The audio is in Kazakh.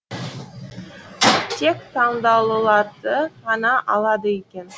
тек таңдаулыларды ғана алады екен